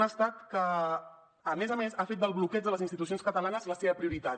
un estat que a més a més ha fet del bloqueig de les institucions catalanes la seva prioritat